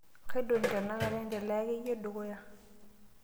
Kaaidong' tenakata endelea akeyie dukuya.